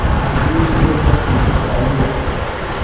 मुझे यह सब चीज़ें चाहिएँ